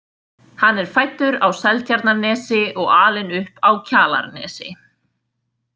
Hann er fæddur á Seltjarnarnesi og alinn upp á Kjalarnesi.